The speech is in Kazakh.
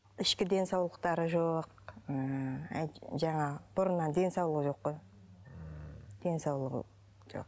ішкі денсаулықтары жоқ ыыы жаңағы бұрыннан денсаулығы жоқ қой ммм денсаулығы жоқ